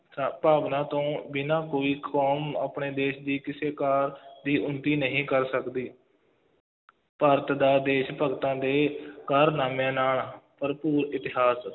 ਸ~ ਭਾਵਨਾ ਤੋਂ ਬਿਨਾ ਕੋਈ ਕੌਮ ਆਪਣੇ ਦੇਸ਼ ਦੀ ਕਿਸੇ ਕਾਰਜ ਦੀ ਉੱਨਤੀ ਨਹੀਂ ਕਰ ਸਕਦੀ ਭਾਰਤ ਦਾ ਦੇਸ਼ ਭਗਤਾਂ ਦੇ ਕਾਰਨਾਮਿਆਂ ਨਾਲ ਭਰਪੂਰ ਇਤਿਹਾਸ,